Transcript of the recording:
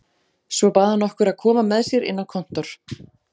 Svo bað hann okkur að koma með sér inn á kontór.